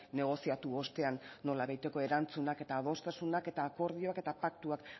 negoziatu ostean nolabaiteko erantzunak eta adostasunak eta akordioak eta paktuak